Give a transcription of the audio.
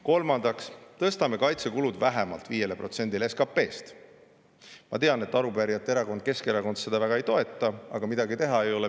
Kolmandaks tõstame kaitsekulud vähemalt 5%‑ni SKP‑st. Ma tean, et arupärijate erakond, Keskerakond, seda ei toeta, aga midagi teha ei ole.